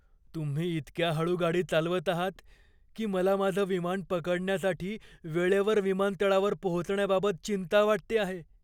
तुम्ही इतक्या हळू गाडी चालवत आहात की मला माझं विमान पकडण्यासाठी वेळेवर विमानतळावर पोहोचण्याबाबत चिंता वाटते आहे.